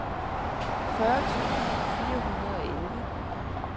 fyrre tusind fire hundrede og elleve